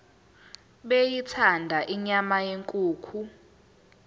beyithanda inyama yenkukhu